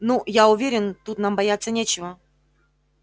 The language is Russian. ну я уверен тут нам бояться нечего